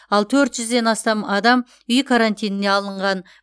ал төрт жүзден астам адам үй карантиніне алынған